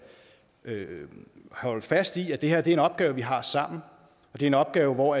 holde fast i at det her er en opgave vi har sammen og det er en opgave hvor